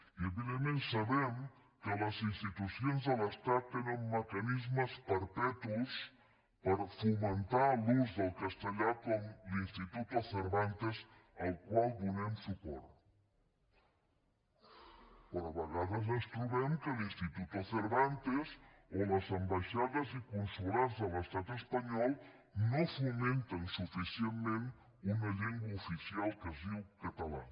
i evidentment sabem que les institucions de l’estat tenen mecanismes perpetus per fomentar l’ús del castellà com l’instituto cervantes al qual donem suport però a vegades ens trobem que l’instituto cervantes o les ambaixades i consolats de l’estat espanyol no fomenten suficientment una llengua oficial que es diu català